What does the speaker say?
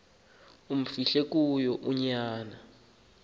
amfihle kuyo unyana